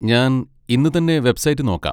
ഞാൻ ഇന്ന് തന്നെ വെബ്സൈറ്റ് നോക്കാം.